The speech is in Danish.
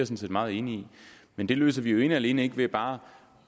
set meget enig i men det løser vi jo ikke alene ved bare